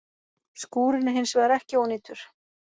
Skúrinn er hins vegar ekki ónýtur